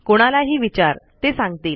कोणालाही विचार ते सांगतील